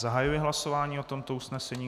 Zahajuji hlasování o tomto usnesení.